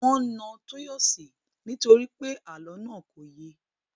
Wọn na Tọ́yọ̀sí nítorí pé àlọ́ náà kò ye